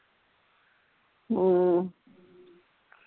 ਹਮ